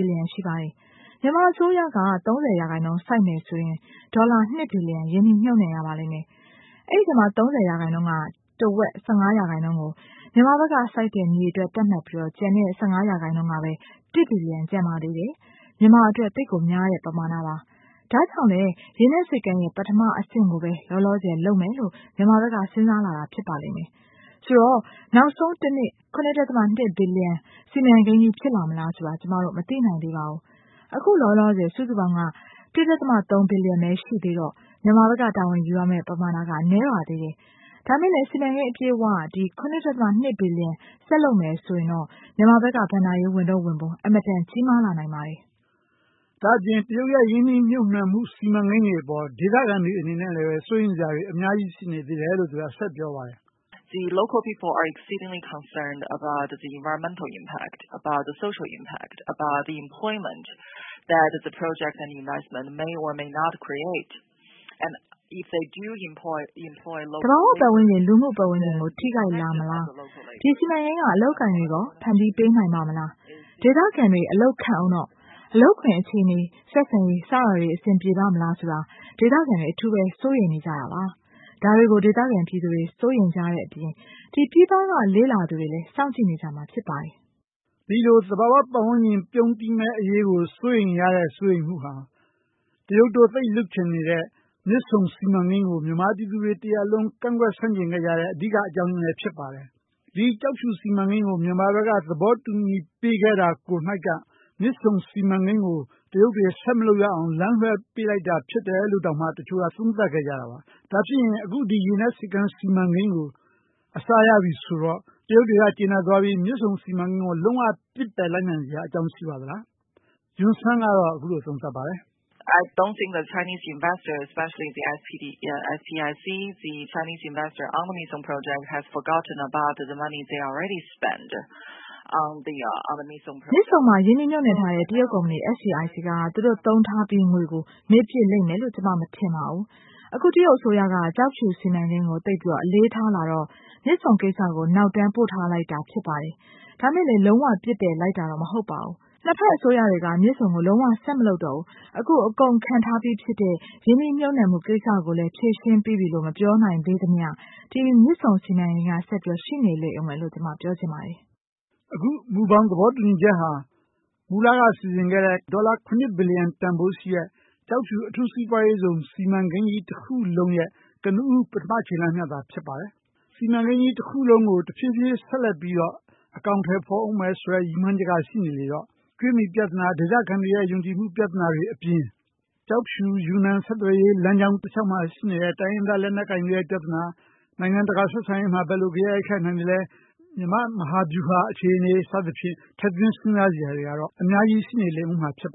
ီလီယံရှိပါတယ်။ မြန်မာအစိုးရက ၃၀ ရာခိုင်နှုန်း စိုက်မယ်ဆိုရင် ဒေါ်လာ ၂ ဘီလီယံရင်းနှီးမြှုပ်နှံရပါမယ်။ အဲဒီထဲမှာ ၃၀ ရာခိုင်နှုန်းကနေ တဝက် ၁၅ ရာခိုင်နှုန်းကို မြန်မာဘက်က စိုက်တဲ့မြေအတွက် သတ်မှတ်ပြီးတော့ ကျန်တဲ့၁၅ ရာခိုင်နှုန်း ဒေါ်လာ ၁ ဘီလီယံ ကျန်ပါသေးတယ်။ မြန်မာအတွက် သိပ်များတဲ့ပမာဏပါ။ ဒါကြောင့် ကျောက်ဖြူရေနက်ဆိပ်ကမ်းစီမံကိန်း ပထမအဆင့်ကိုပဲ လောလောဆည်လုပ်မယ်လို့ မြန်မာဘက်က စဉ်းစားလာတာဖြစ်ပါလိမ့်မယ်။ ဆိုတော့ နောက်ဆုံး ၇.၂ ဘီလီယံ စီမံကိန်းဖြစ်လာမလားဆိုတာ ကျမတို့ မသိသေးပါဘူး။ အခုလောလောဆည် စုစုပေါင်းပမာဏက ဒေါ်လာ ၁.၃ ဘီလီယံပဲရှိသေးတော့ မြန်မာဘက်က တာဝန်ယူရမယ့် ပမာဏနည်းပါသေးတယ်။ ဒါပေမယ့် စုစုပေါင်းပမာဏ ဒေါ်လာ ၇.၂ ဘီလီယံ ဆက်လုပ်မယ်ဆိုရင် မြန်မာဘက်က ဘဏ္ဍာရေးဝန်ထုတ်ဝန်ပိုးအင်မတန်ကြီးမားလာနိုင်ပါတယ်။ ဒါအပြင် တရုတ်ရင်းနှီးမြုပ်နှံမှု စီမံကိန်းတွေအပေါ် ဒေသခံတွေအနေနဲ့ စိုးရိမ်မှုအများဆုံးရှိနေတယ်လို့ သူကပြောပါတယ်။ "သဘာဝပတ်ဝန်းကျင်၊ လူနေမှု ပတ်ဝန်းကျင် ထိခိုက်လာမလား ဒီ စီမံကိန်းက အလုပ်အကိုင်တွေရော ဖန်တီးလာနိုင်မလား။ ဒေသခံတွေအလုပ်ခန့်ဦးတော့ အလုပ်ကိုင်အခြေအနေတွေ ဆက်ဆံရေးအခြေအနေတွေအဆင်ပြေပါ့မလားဆိုတာတွေ ဒေသခံတွေ စိုးရိမ်နေတာပါ။ ဒေသခံတွေ စိုးရိမ်တဲ့အပြင် ပြည်ပက လေ့လာသူတွေလည်း စောင့်ကြည့်ကြမှာဖြစ်ပါတယ်။ ပြီးတော့ သဘာဝပတ်ဝန်းကျင် ပြုန်းတီးမှုကို စိုးရမ်တဲ့ စိုးရိမ်မှုကို တရုတ်တို့ လုပ်ချင်တဲ့ မြစ်ဆုံစီမံကိန်းကို မြန်မာပြည်သူတွေတရပ်လုံး ကန့်ကွက် ဆန့်ကျင်ခဲ့တဲ့ အဓိကအကြောင်းအရင်းလည်းဖြစ်ပါတယ်။ ့ ကျောက်ဖြူရေနက်ဆိပ်ကမ်းစီမံကိန်း မြန်မာဘက်က သဘောတူ ခဲ့တာကိုက မြစ်ဆုံစီမံကိန်းကို တရုတ်တွေ ဆက်မလုပ်ရအောင် လမ်းလွဲပေးလိုက်တာဖြစ်တယ်လို့ တောင်မှ တချို့သုံးသပ်ကြတာပါ။ ဒါဖြင့်ရင် ကျောက်ဖြူရေနက်ဆိပ်ကမ်းစီမံကိန်းကို အစရပြီဆိုတော့ တရုတ်ကကြေနပ်သွားပြီး မြစ်ဆုံစီမံကိန်းကို လုံး၀ ပစ်ပယ်လိုက်စရာရှိပါသလား။ Yun Sun က အခုလိုသုံးသပ်ပါတယ်။ " မြစ်ဆုံမှာရင်းနှီးမြုပ်နှံထားတဲ့ တရုတ်ကုမ္ပဏီက သူတို့သုံးထားပြီးတဲ့ငွေတွေကို မေ့လိမ့်မယ်လို့ မထင်ပါဘူး။ အခုတရုတ်အစိုးရက ကျောက်ဖြူရေနက်ဆိပ်ကမ်းစီမံကိန်းကို သိပ်ပြီးတော့ အလေးထားလာတော့ မြစ်ဆုံကိစ္စကို နောက်တမ်းပို့ထားလိုက်တာ ဖြစ်ပါတယ်။ ဒါပေမယ့် လုံးဝပစ်ပယ်လိုက်တာမဟုတ်ပါဘူး။ ၂ ဖက်အစိုးရတွေက မြစ်ဆုံကို လုံးဝဆက်မလုပ်တော့ဘူး အခုအကုန်ခံထားပြီးတဲ့ ရင်းနှီးမြုပ်နှံမှုကိစ္စကိုလည်း ဖြေရှင်းပြီးပြီလို့ မပြောနိုင်သေးသမျှ ဒီ မြစ်ဆုံစီမံကိန်းက ဆက်ရှိနေလိမ့်မယ်လို့ ပြောချင်ပါတယ်။" အခုမူဘောင်သဘောတူညီချက်ဟာ မူလစီစဉ်ခဲ့တဲ့ ဒေါ်လာ ၇.၂ ဘီလီယံတန်ဖိုးရှိတဲ့ ကျောက်ဖြူရေနက်ဆိပ်ကမ်းစီမံကိန်တခုလုံးရဲ့ ကနဦး ပထမခြေလှမ်းသာဖြစ်ပါတယ်။ စီမံကိန်တခုလုံးကိုဆက်ပြီး အကောင်အထည်ဖော်ဦးမယ်ဆိုတဲ့ ရည်ရွယ်ချက်ကရှိနေသေးတော့ ကြွေးမြီပြဿနာ၊ ဒေသခံတွေရဲ့ ယုံကြည်မှု ပြဿနာတွေအပြင် ဆက်သွယ်ရေးလမ်းကြောင်း တလျောက်မှာ ဖြစ်နေတဲ့ တိုင်းရင်းသားလက်နက်ကိုင်တွေရဲ့ ပြဿနာတွေ နိုင်ငံတကာ ဆက်ဆံရေးမှာ ဘယ်လိုဘေးရိုက်ခတ်နိုင်သလဲ ၊ မြန်မာ့မဟာဗျူဟာအခြေအနေ စသဖြင့် ထည့်သွင်းစဉ်းစားစရာတွေလည်းအများကြီးရှိနေဦးမှာဖြစ်ပါ